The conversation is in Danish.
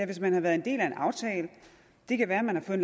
hvis man har været en del af en aftale og det kan være man har fået